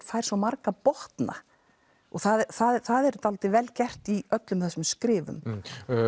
fær svo marga botna það er dálítið vel gert í öllum þessum skrifum